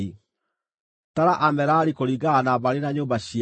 “Tara Amerari kũringana na mbarĩ na nyũmba ciao.